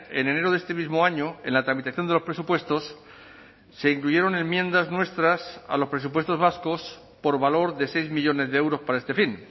en enero de este mismo año en la tramitación de los presupuestos se incluyeron enmiendas nuestras a los presupuestos vascos por valor de seis millónes de euros para este fin